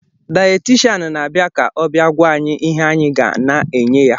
Dayetishan na-na-abịa ka ọ bịa gwa anyị ihe anyị ga na-na-enye ya